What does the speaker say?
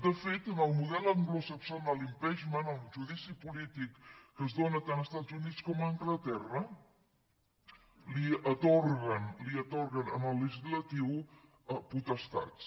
de fet en el model anglosaxó en el impeachmentdici polític que es dóna tant als estats units com a anglaterra atorguen al legislatiu potestats